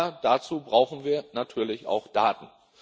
Aber dazu brauchen wir natürlich auch Daten.